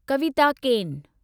कविता केन